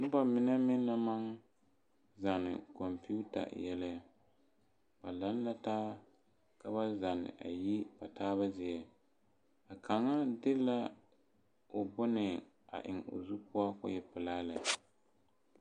Noba mine meŋ naŋ maŋ zanne kompita yɛlɛ , ba laŋe la taa ka ba zanne ayi ba taaba zie , a kaŋa de la o bone a eŋe o zu poɔ kɔɔ e pelaa lɛ